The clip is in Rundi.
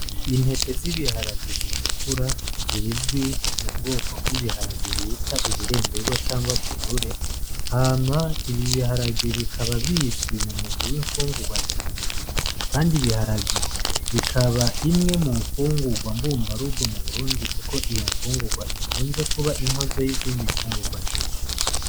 Intete z'ibiharage zitukura zizwi mu bwoko bw'ibiharage bita ibiremberwa cangwa kinure, hama ibi biharage bikaba bizwi mu mugwi w'imfungurwa ndema mubiri, kandi ibiharage bikaba imwe mu mfungurwa mbumbarugo mu burundi, kuko iyo mfungurwa ikunze kuba inkozo y'izindi mfungurwa nyishi.